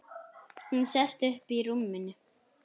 Hún sest upp í rúminu.